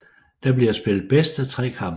Der bliver spillet bedst af tre kampe